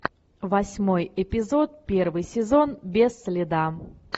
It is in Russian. восьмой эпизод первый сезон без следа